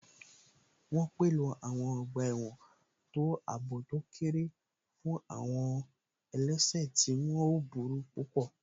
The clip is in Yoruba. Wọ́n pèlò àwọn ọgbà ẹ̀wọ̀n tó àbò tó kéré fún àwọn àwọn ẹlẹ́sẹ̀ tí wọ́n ò burú púpọ̀